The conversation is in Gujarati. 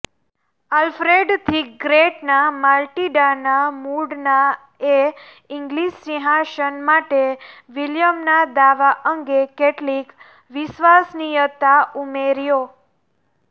આલ્ફ્રેડ ધી ગ્રેટના માટિલ્ડાના મૂળનાએ ઇંગ્લીશ સિંહાસન માટે વિલિયમના દાવા અંગે કેટલીક વિશ્વસનીયતા ઉમેર્યા